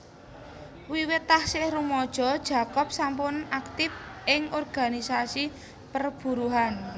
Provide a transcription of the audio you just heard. Wiwit taksih rumaja Jacob sampun aktif ing organisasi perburuhan